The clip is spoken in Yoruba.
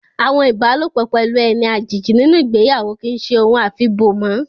Àwọn ibalopo pelu eni àjèjì nínú ìgbéyàwó kì í ṣe ohun afi bo mọ́